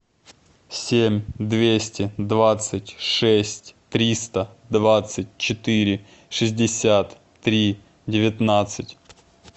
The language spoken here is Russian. семь двести двадцать шесть триста двадцать четыре шестьдесят три девятнадцать